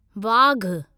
वाघ